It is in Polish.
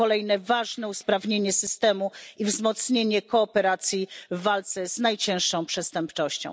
To kolejne ważne usprawnienie systemu i wzmocnienie kooperacji w walce z najcięższą przestępczością.